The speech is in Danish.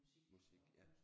Musik ja